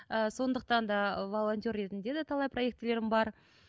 ыыы сондықтан да волонтер ретінде де талай проектілерім бар